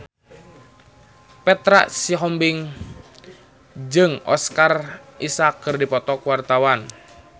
Petra Sihombing jeung Oscar Isaac keur dipoto ku wartawan